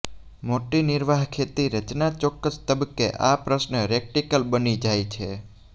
મોટી નિર્વાહ ખેતી રચના ચોક્કસ તબક્કે આ પ્રશ્ન રેટરિકલ બની જાય છે